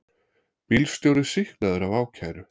Bílstjóri sýknaður af ákæru